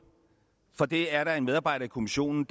for det er der en medarbejder i kommissionen